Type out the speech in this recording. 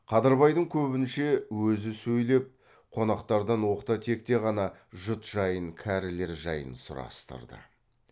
қадырбайдың көбінше өзі сөйлеп қонақтардан оқта текте ғана жұт жайын кәрілер жайын сұрастырды